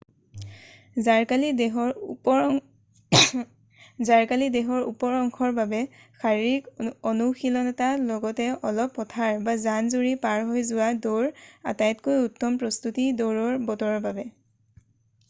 জাৰকালি দেহৰ ওপৰ অংশৰ বাবে শাৰিৰীক অনুশীলনৰ লগতে অলপ পথাৰ বা জান-জুৰি পাৰ হৈ যোৱা দৌৰ আটাইতকৈ উত্তম প্ৰস্তুতি দৌৰৰ বতৰৰ বাবে